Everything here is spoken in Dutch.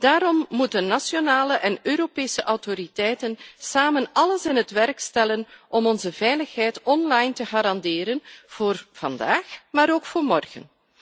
Daarom moeten nationale en Europese autoriteiten samen alles in het werk stellen om onze veiligheid online te garanderen voor vandaag, maar ook voor morgen.